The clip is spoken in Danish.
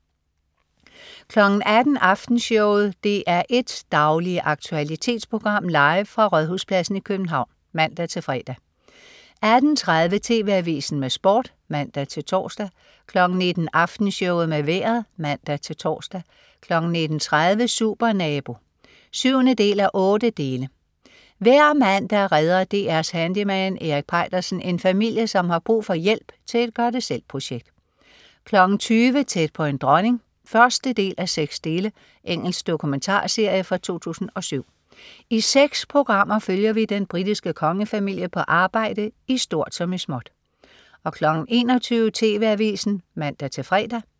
18.00 Aftenshowet. DR1s daglige aktualitetsprogram, live fra Rådhuspladsen i København (man-fre) 18.30 TV Avisen med Sport (man-tors) 19.00 Aftenshowet med vejret (man-tors) 19.30 Supernabo 7:8. Hver mandag redder DR's handyman Erik Peitersen en familie, som har brug for hjælp til et gør det selv-projekt 20.00 Tæt på en dronning 1:6. Engelsk dokumentarserie fra 2007. I seks programmer følger vi den britiske kongefamilie på arbejde i stort som i småt 21.00 TV Avisen (man-fre)